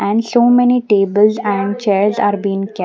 And so many tables and chairs are being kep--